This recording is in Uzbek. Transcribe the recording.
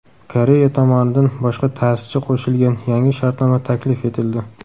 Koreya tomonidan boshqa ta’sischi qo‘shilgan yangi shartnoma taklif etildi.